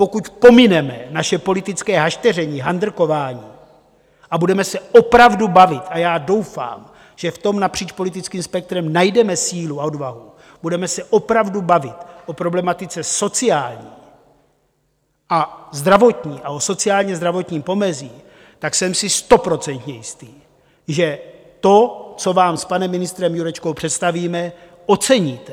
Pokud pomineme naše politické hašteření, handrkování a budeme se opravdu bavit - a já doufám, že v tom napříč politickým spektrem najdeme sílu a odvahu, budeme se opravdu bavit o problematice sociální a zdravotní a o sociálně-zdravotním pomezí, tak jsem si stoprocentně jist, že to, co vám s panem ministrem Jurečkou představíme, oceníte.